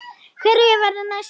Hverjir verða næstir?